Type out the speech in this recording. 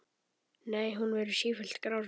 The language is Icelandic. Nei, hún verður sífellt grárri.